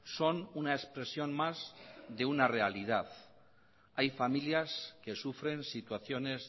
son una expresión más de una realidad hay familias que sufren situaciones